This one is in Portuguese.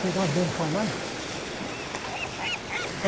Será bom falar?